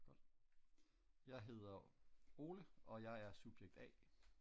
Jeg hedder Ole og jeg er subjekt a